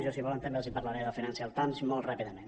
jo si volen també els parlaré del financial times molt ràpidament